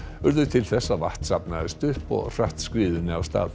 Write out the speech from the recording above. urðu til þess að vatn safnaðist upp og hratt skriðunni af stað